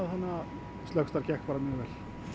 slökkvistarf gekk bara mjög vel